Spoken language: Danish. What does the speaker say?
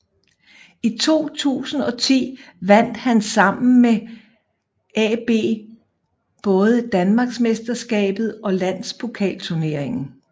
I 2010 vandt han sammen med AaB både Danmarksmesterskabet og Landspokalturneringen